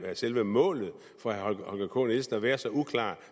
er selve målet for herre holger k nielsen at være så uklar